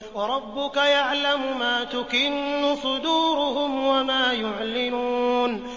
وَرَبُّكَ يَعْلَمُ مَا تُكِنُّ صُدُورُهُمْ وَمَا يُعْلِنُونَ